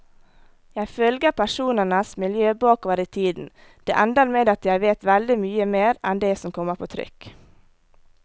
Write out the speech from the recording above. Jeg følger personenes miljø bakover i tiden, det ender med at jeg vet veldig mye mer enn det som kommer på trykk.